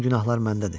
bütün günahlar məndədir.